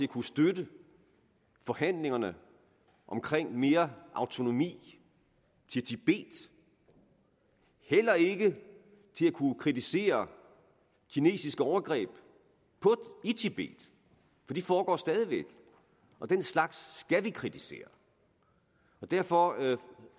kunne støtte forhandlingerne om mere autonomi til tibet heller ikke til at kunne kritisere kinesiske overgreb i tibet for de foregår stadig væk og den slags skal vi kritisere derfor